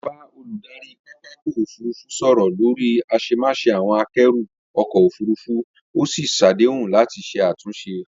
Mo bá olùdarí pápakọ̀ òfurufú sọ̀rọ̀ lórí àṣemáṣe àwọn àkẹ́rù ọkọ̀ òfurufú, ó sì ṣàdéhùn láti ṣe àtúnṣe